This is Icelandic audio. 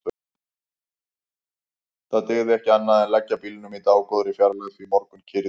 Það dygði ekki annað en leggja bílnum í dágóðri fjarlægð því morgunkyrrð í